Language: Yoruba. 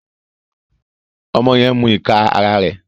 Ọmọ yẹn n mú ìká àrà rẹ.